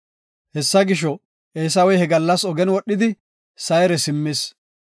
Hessa gisho, Eesawey he gallas ogen wodhidi Sayre simmis.